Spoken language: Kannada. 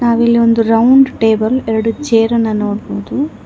ನಾವು ಇಲ್ಲಿ ಒಂದು ರೌಂಡ್ ಟೇಬಲ್ ಎರಡು ಚೇರ ನ್ನು ನೋಡಬಹುದು.